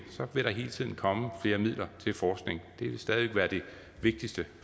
vil der hele tiden komme flere midler til forskning det vil stadig væk være det vigtigste